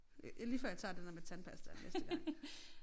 Det lige før jeg tager det der med tandpastaen næste gang